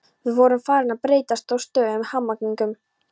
Við vorum farin að þreytast á stöðugum hamaganginum.